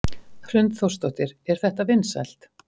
Hrund Þórsdóttir: Er þetta vinsælt?